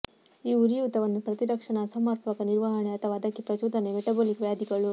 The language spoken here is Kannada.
ಈ ಉರಿಯೂತವನ್ನು ಪ್ರತಿರಕ್ಷಣಾ ಅಸಮರ್ಪಕ ನಿರ್ವಹಣೆ ಅಥವಾ ಅದಕ್ಕೆ ಪ್ರಚೋದನೆ ಮೆಟಬೊಲಿಕ್ ವ್ಯಾಧಿಗಳು